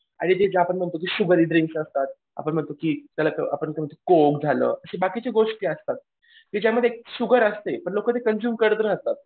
आणि ते आपण जे म्हणतो की शुगरी ड्रिंक असतात. आपण म्हणतो की त्याला कोक झालं असे बाकीचे गोष्टी असतात. की ज्यामध्ये शुगर असते पण लोकं ते कंझ्यूम करत राहतात.